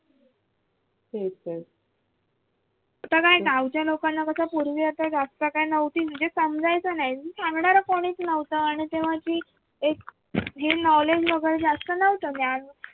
आता काय गावच्या लोकांना फक्त असं काय पूर्वी आता जास्त नव्हती म्हणजे समजायचं नाही सांगणार कोणीच नव्हतं आणि तेव्हा अशी एक हे knowledge वगैरे जास्त नव्हतं म्हणजे ज्ञान